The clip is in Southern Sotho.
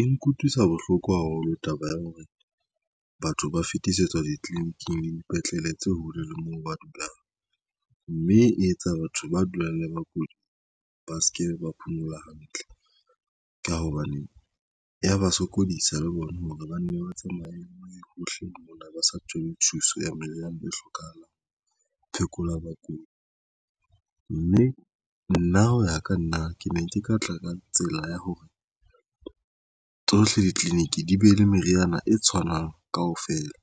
E nkutlwisa bohloko haholo taba ya hore batho ba fetisetswa ditliliniking le dipetlele tse hole le moo ba dulang, mme e etsa batho ba dulang le bakudi ba se ke ba phomola hantle ka hobane ya ba sokodisa le bona hore banne ba tsamaye hohle mona ba sa thole thuso ya maelana le hlokahalang. Phekolwa bakudi mme nna hoya ka nna, nna ke ne ke ka tla ka tsela ya hore tsohle ditleliniki di be le meriana e tshwanang kaofela